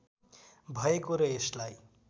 भएको र यसलाई